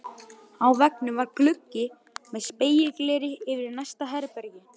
Á veggnum var gluggi með spegilgleri yfir í næsta herbergi.